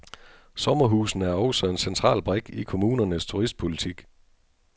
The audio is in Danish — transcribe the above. Sommerhusene er også en central brik i kommunernes turistpolitik.